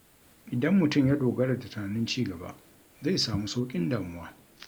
Idan mutum ya dogara da tunanin ci gaba, zai samu sauƙin damuwa.